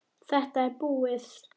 Þetta er búið!